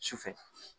Sufɛ